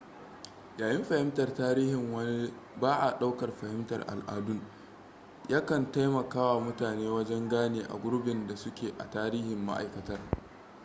yayin fahimtar tarihin wani ba a daukar fahimtar aladun ya kan taimakawa mutane wajan gane a gurbin da suke a tarihin maaikatar